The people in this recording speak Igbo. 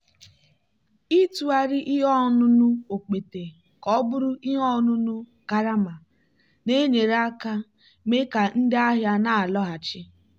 ịtụgharị ihe ọṅụṅụ okpete ka ọ bụrụ ihe ọṅụṅụ karama na-enyere aka mee ka ndị ahịa na-alọghachi.